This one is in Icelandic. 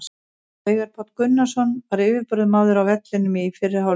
Veigar Páll Gunnarsson var yfirburðamaður á vellinum í fyrri hálfleik.